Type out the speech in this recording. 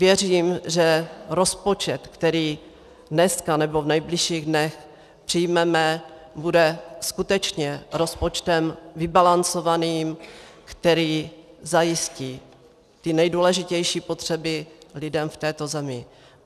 Věřím, že rozpočet, který dneska nebo v nejbližších dnech přijmeme, bude skutečně rozpočtem vybalancovaným, který zajistí ty nejdůležitější potřeby lidem v této zemi.